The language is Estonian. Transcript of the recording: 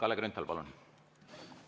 Kalle Grünthal, palun!